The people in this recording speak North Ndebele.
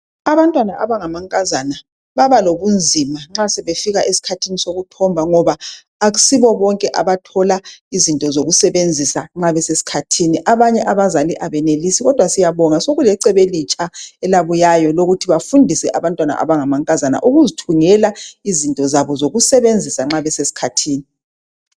Abantwana abangamankazana babalobunzima nxa sebefika esikhathini sokuthomba ngoba akusibo bonke abathola izinto zokusebenzisa nxa besesikhathini. Abanye abazali abenelisi kodwa siyabonga sokulecebo elitsha elabuyayo lokuthi bafundise abantwana abangamankazana ukuzithungela izinto zabo zokusebenzisa nxa besesikhathini.